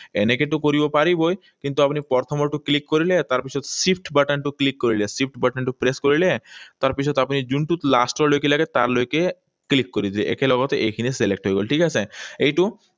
এনেকৈতো কৰিব পাৰিবই। কিন্তু আপুনি প্ৰথমৰটো click কৰিলে, তাৰপিছত shift button টো click কৰিলে, shift button টো press কৰিলে। তাৰপিছত আপুনি যোনটোত last লৈকে লাগে, তাৰলৈকে click কৰি দিলে। একেলগতে এইখিনি select হৈ গল। ঠিক আছে? এইটো